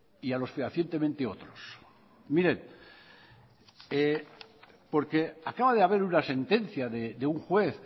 y a los fehacientemente otros miren porque acaba de haber una sentencia de un juez